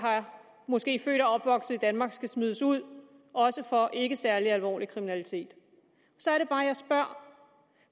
måske er født og opvokset i danmark skal smides ud også for ikke særlig alvorlig kriminalitet så er det bare jeg spørger